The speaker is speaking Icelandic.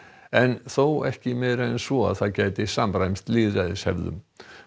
en þó ekki meira en svo að það gæti samræmst lýðræðishefðum